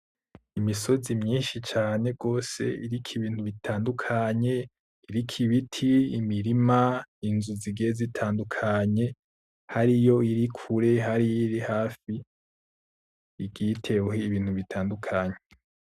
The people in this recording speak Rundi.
Imisozi myinshi cane gose iriko ibintu bitandukanye, iriko ibiti, imirima, inzu zigiye zitandukanye. Hariyo iyiri kure, hariyo iyiri hafi igiye iteweho ibintu bitandukanye.